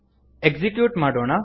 execute ಮಾಡೋಣ